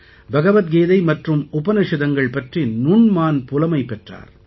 பகவத் கீதை மற்றும் உபநிஷதங்கள் பற்றி நுண்மான் புலமை பெற்றார்